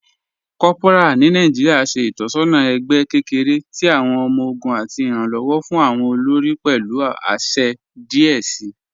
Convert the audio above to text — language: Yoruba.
Kòpọra ni Nàìjíríà ṣẹ̀ itọsọna ẹgbẹ̀ kẹkẹ̀rẹ̀ tì awọn ọmọ-ọgùn àti iranlọwọ fún awọn olórí pẹ̀lú àṣẹ̀ díẹ̀ sí.